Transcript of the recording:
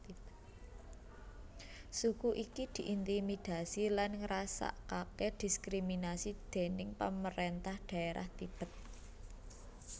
Suku iki diintimidasi lan ngrasakake diskriminasi déning pamarentah dhaerah Tibet